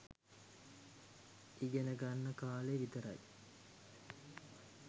ඉගෙනගන්න කාලෙ විතරයි.